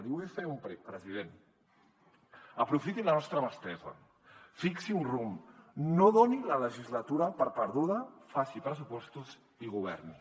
li vull fer un prec president aprofitin la nostra mà estesa fixi un rumb no doni la legislatura per perduda faci pressupostos i governi